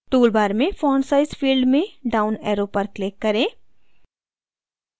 toolbar में font size field में down arrow पर click करें